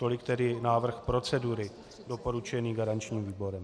Tolik tedy návrh procedury doporučený garančním výborem.